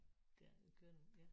Det er det kører nu ja